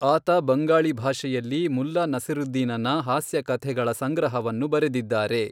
ಆತ ಬಂಗಾಳಿ ಭಾಷೆಯಲ್ಲಿ ಮುಲ್ಲಾ ನಸೀರುದ್ದೀನನ ಹಾಸ್ಯ ಕಥೆಗಳ ಸಂಗ್ರಹವನ್ನು ಬರೆದಿದ್ದಾರೆ.